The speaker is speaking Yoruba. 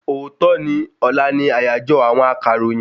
Òòtọ́ ni ọlá ni àyàjọ́ àwọn akọ̀ròyìn